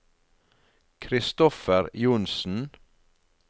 Christopher Johnsen